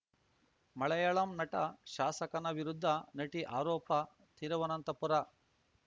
ಮಳಯಾಳಂ ನಟ ಶಾಸಕನ ವಿರುದ್ಧ ನಟಿ ಆರೋಪ ತಿರುವನಂತಪುರ